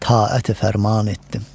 taəti fərman etdim.